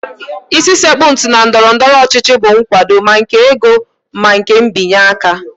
Isi sekpụ ntị na ndọrọndọrọ ọchịchị bụ nkwado, ma nke ego na nke mbịanye aka